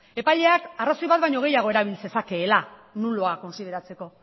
epaileak arrazoi bat baino gehiago erabil zezakeela nulua kontsideratzeko